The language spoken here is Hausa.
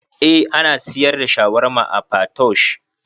Eh ana siyar da shawarma a Patoosh